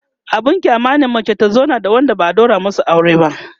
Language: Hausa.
abun kyama ne mace ta zauna da Wanda ba'a ɗaura masu aure ba